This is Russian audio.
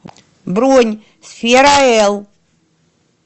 бронь сфераэл